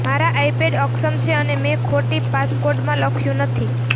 મારા આઈપેડ અક્ષમ છે અને મેં ખોટી પાસકોડમાં લખ્યું નથી